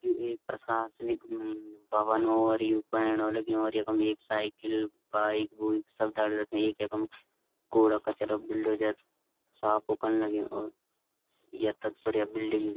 यु एक प्रशासनिक भवन और यु बण्युं लग्युं और यखम एक साइकिल बाइक -बुइक सब दगड़ी रख्या एक यखम कूड़ा-कचरा बुल्डोजर साफ ऊ कन लग्युं और यख तख बड़िया बिल्डिंग --